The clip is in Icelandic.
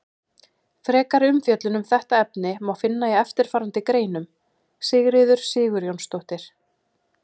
Frekari umfjöllun um þetta efni má finna í eftirfarandi greinum: Sigríður Sigurjónsdóttir.